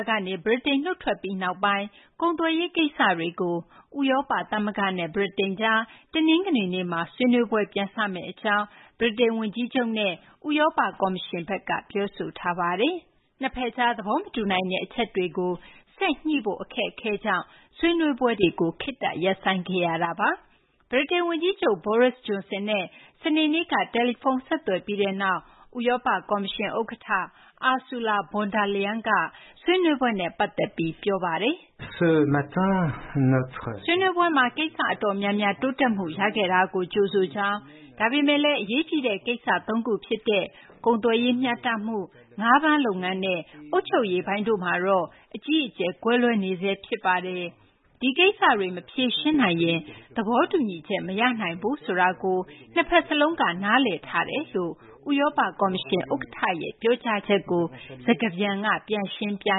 ကနေ ဗြိတိန် နုတ်ထွက်ပြီးနောက်ပိုင်း ကုန်သွယ်ရေးကိစ္စတွေကို ဥရောပသမဂ္ဂနဲ့ ဗြိတိန်ကြား တနင်္ဂနွေနေ့မှာ ဆွေးနွေးပွဲပြန်စမယ့်အကြောင်း ဗြိတိန်ဝန်ကြီးချုပ်နဲ့ ဥရောပကော်မရှင်က ပြောဆိုလိုက်ပါတယ်။ နှစ်ဖက်ကြား သဘောမတူနိုင်တဲ့ အချက်တွေကို ဆက်လက်ညှိနှိုင်းဖို့ အခက်အခဲကြောင့် ဆွေးနွေးပွဲကို ခေတ္တရပ်ဆိုင်းထားခဲ့ရတာပါ။ ဗြိတိန်ဝန်ကြီးချုပ် Boris Johnson နဲ့ စနေနေ့က တယ်လီဖုန်း ဆက်သွယ်ပြီးနောက် ဥရောပကော်မရှင်ဥက္ကဋ္ဌ Ursula von der Leyen က ဆွေးနွေးပွဲနဲ့ ပတ်သက်ပြီး ပြောဆိုသွားပါတယ်။ “ဆွေးနွေးပွဲမှာ ကိစ္စအတော်များများ တိုးတက်မှု ရခဲ့တာကို ကြိုဆိုကြောင်း၊ ဒါပေမယ့်လည်း အရေးကြီးတဲ့ ကိစ္စသုံးခုဖြစ်တဲ့ ကုန်သွယ်ရေးမျှတမှု၊ ငါးဖမ်းလုပ်ငန်းနဲ့ အုပ်ချုပ်ရေးပိုင်းတို့မှာတော့ အကြီးအကျယ် ကွဲလွဲနေဆဲ ဖြစ်ပါတယ်။ ဒီကိစ္စတွေ မဖြေရှင်းနိုင်ရင် သဘောတူညီချက် မရနိုင်ဘူးဆိုတာကို နှစ်ဖက်စလုံးက နားလည်ထားပါတယ်” လို့ ဥရောပကော်မရှင် ဥက္ကဋ္ဌရဲ့ ပြောကြားချက်ကို စကားပြန်က ပြန်ရှင်းပြ